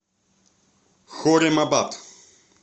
хорремабад